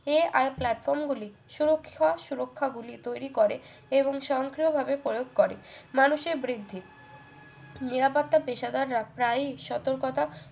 AI platform গুলি সুরক্ষার সুরক্ষা গুলি তৈরি করে এবং স্বয়ংক্রিয়ভাবে প্রয়োগ করে মানুষের বৃদ্ধি নিরাপত্তা পেশাদার রাখ প্রায়ই সতর্কতা